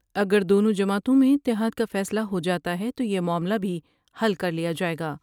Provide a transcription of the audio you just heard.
اگر دونوں جماعتوں میں اتحاد کا فیصلہ ہوجا تا ہے تو یہ معاملہ بھی حل کر لیا جاۓ گا۔